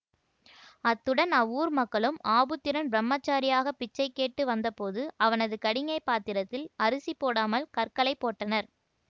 அத்துடன் அவ்வூர் மக்களும் ஆபுத்திரன் பிரமச்சாரியாக பிச்சை கேட்டு வந்தபோது அவனது கடிஞை பாத்திரத்தில் அரிசி போடாமல் கற்களைப் போட்டனர்